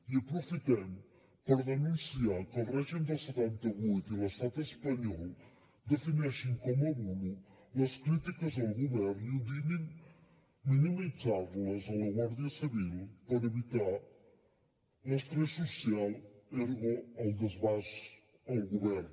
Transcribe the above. i aprofitem per denunciar que el règim del setanta vuit i l’estat espanyol defineixin com a bulo les crítiques al govern i ordenin minimitzar les a la guàrdia civil per evitar l’estrès social ergo el desgast al govern